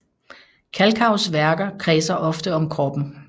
Kalkaus værker kredser ofte om kroppen